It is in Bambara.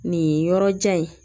Nin yɔrɔjan in